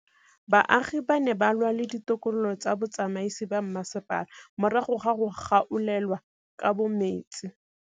Baagi ba ne ba lwa le ditokolo tsa botsamaisi ba mmasepala morago ga go gaolelwa kabo metsi.